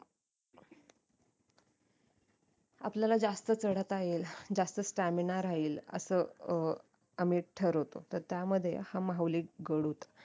आपल्याला जास्त चडता येईल जास्त stamina राहील असं अं आम्ही ठरवतो तर त्या मध्ये हा माहुली गड होता